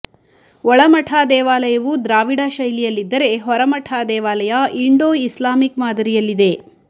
ಒಳಮಠ ದೇವಾಲಯವು ದ್ರಾವಿಡ ಶೈಲಿಯಲ್ಲಿದ್ದರೆ ಹೊರಮಠ ದೇವಾಲಯ ಇಂಡೊ ಇಸ್ಲಾಮಿಕ್ ಮಾದರಿಯಲ್ಲಿದೆ